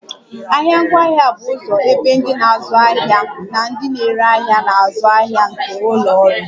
Ahịa ngwaahịa bụ ụzọ ebe ndị na-azụ ahịa na ndị na-ere ahịa na-azụ ahịa nke ụlọ ọrụ